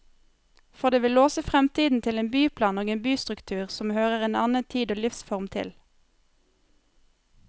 For det vil låse fremtiden til en byplan og en bystruktur som hører en annen tid og livsform til.